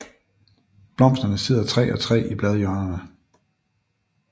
Blomsterne sidder tre og tre i bladhjørnerne